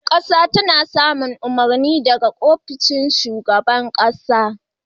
Ƙasa tana samun umarni daga ofishin shugaban ƙasa.